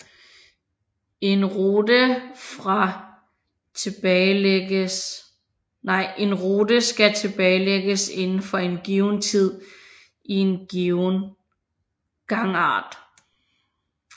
En rute skal tilbagelægges inden for en given tid i en given gangart